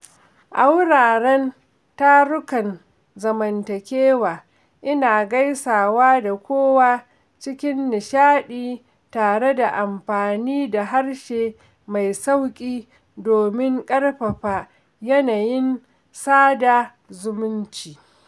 A wuraren tarukan zamantakewa, ina gaisawa da kowa cikin nishaɗi tare da amfani da harshe mai sauƙi domin ƙarfafa yanayin sada zumunci.